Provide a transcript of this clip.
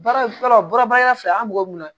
Baara bɔra baara fila an b'o mun na